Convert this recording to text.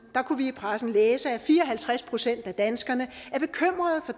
kunne vi i pressen læse at fire og halvtreds procent af danskerne